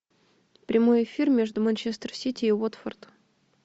прямой эфир между манчестер сити и уотфорд